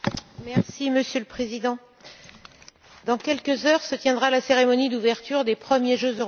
Monsieur le Président, dans quelques heures se tiendra la cérémonie d'ouverture des premiers jeux européens.